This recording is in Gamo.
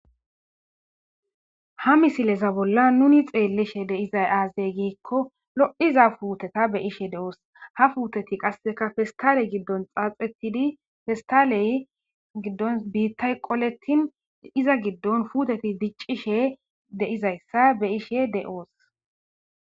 ha misileza bolla nuni xeellishe deizay aazey giikko lo7iza puuteta be ishe de7oos ha fuuteti qasseka festale giddon xaaxetidi festaley giddon biittay qolettin iza giddon fuuteti diccishe deizayssa be ishe de7oos